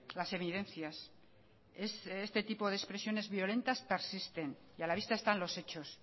las evidencias es este tipo de expresiones violentas persisten y a la vista están los hechos